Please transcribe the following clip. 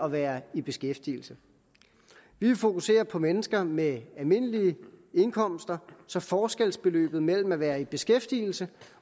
at være i beskæftigelse vi vil fokusere på mennesker med almindelige indkomster så forskelsbeløbet mellem at være i beskæftigelse